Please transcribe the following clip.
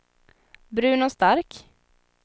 Bruno Stark